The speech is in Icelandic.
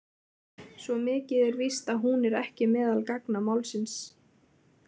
Svo mikið er víst að hún er ekki meðal gagna málsins.